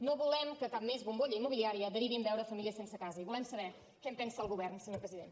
no volem que cap més bombolla immobiliària derivi en veure famílies sense casa i volem saber què en pensa el govern senyor president